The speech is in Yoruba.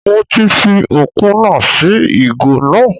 Mo ti fi ópúnà sí ìgò náà